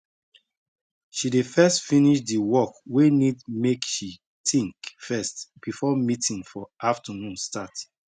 she dey first finish di work wey need make she think first before meeting for afternoon start